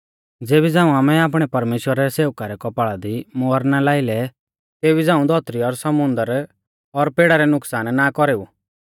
ज़ेबी झ़ांऊ आमै आपणै परमेश्‍वरा रै सेवका रै कौपाल़ा दी मुहर ना लाई लै तेबी झ़ांऊ धौतरी और समुन्दर और पेड़ा लै नुकसान ना कौरेऊ